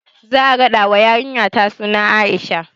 Za a raɗa wa yarinyata suna Aisha